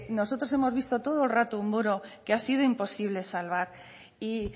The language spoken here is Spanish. nosotros hemos visto todo el rato un muro que ha sido imposible salvar y